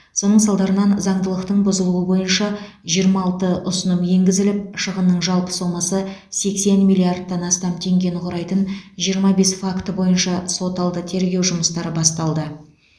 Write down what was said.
соның салдарынан заңдылықтың бұзылуы бойынша жиырма алты ұсыным енгізіліп шығынның жалпы сомасы сексен миллиардтан астам теңгені құрайтын жиырма бес факті бойынша сот алды тергеу жұмыстары басталды